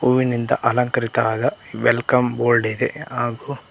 ಹೂವಿನಿಂದ ಅಲಂಕರಿತರಾದ welcome board ಇದೆ ಹಾಗೂ--